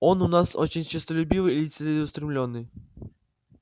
он у нас очень честолюбивый и целеустремлённый